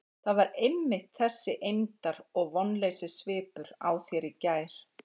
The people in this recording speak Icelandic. Það var einmitt þessi eymdar- og vonleysissvipur á þér í gær.